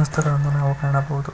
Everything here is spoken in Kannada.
ವಸ್ತುಗಳನ್ನು ನಾವು ಕಾಣಬಹುದು.